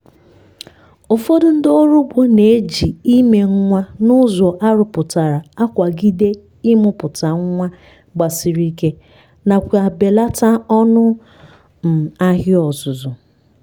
ụfọdụ ndị oro ugbo na-eji ime nwa n’ụzọ arụpụtara akwagide imụpụta nwa gbasiri ike nakwa belata ọnụ um ahịa ọzụzụ.